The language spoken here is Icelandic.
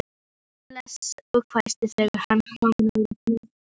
Ég blés og hvæsti þegar hann kom nálægt mér.